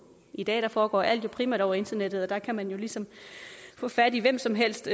i dag foregår alt jo primært over internettet og der kan man jo ligesom få fat i hvem som helst